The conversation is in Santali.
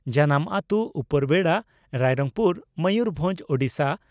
ᱡᱟᱱᱟᱢ ᱟᱛᱩ ᱺ ᱩᱯᱚᱨᱵᱮᱰᱟ, ᱨᱟᱭᱨᱚᱝᱯᱩᱨ, ᱢᱚᱭᱩᱨᱵᱷᱚᱸᱡᱽ, ᱳᱰᱤᱥᱟ ᱾